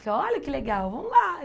Falei, olha que legal, vamos lá.